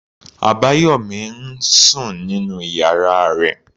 Abayomi ń sùn nínú ìyára rẹ̀.